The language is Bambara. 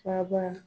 Kaba